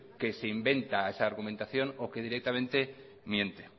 que se inventa esa argumentación o que directamente miente